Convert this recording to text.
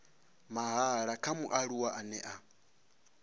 mahala kha mualuwa ane a